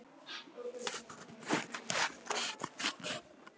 Hugur og hönd!